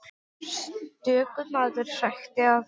Stöku maður hrækti að honum.